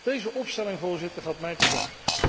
Deze opstelling, Voorzitter, gaat mij te ver.